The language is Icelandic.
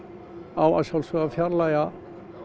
á að sjálfsögðu að fjarlægja